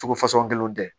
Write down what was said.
Togo fasugu kelen tɛ